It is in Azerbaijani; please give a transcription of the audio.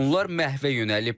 Bunlar məhvə yönəlib.